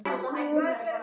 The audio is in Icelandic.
Inga systir.